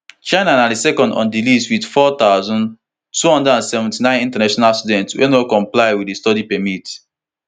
chinana second on di list wit four thousand, two hundred and seventy-nine international students wey no comply wit di study permit